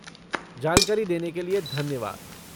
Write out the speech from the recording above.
जानकारी देने के लिए धन्यवाद।